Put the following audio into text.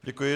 Děkuji.